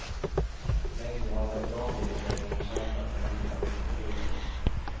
Länge har veteranbilsägarna kämpat för ändrade regler.